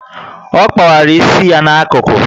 Ọ kpawara isi ya na ákụkụ